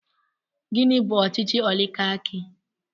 Gịnị bú ọchịchị oligarki?